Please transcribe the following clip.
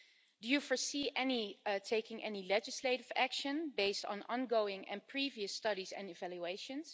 Do you foresee taking any legislative action based on ongoing and previous studies and evaluations?